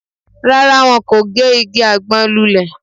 Rárá, wọn kò gé igi àgbọn lulẹ̀